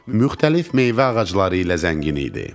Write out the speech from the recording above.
Müxtəlif meyvə ağacları ilə zəngin idi.